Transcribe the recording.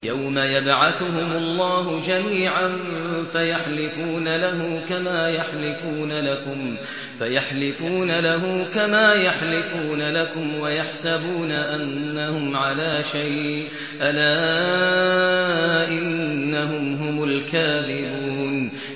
يَوْمَ يَبْعَثُهُمُ اللَّهُ جَمِيعًا فَيَحْلِفُونَ لَهُ كَمَا يَحْلِفُونَ لَكُمْ ۖ وَيَحْسَبُونَ أَنَّهُمْ عَلَىٰ شَيْءٍ ۚ أَلَا إِنَّهُمْ هُمُ الْكَاذِبُونَ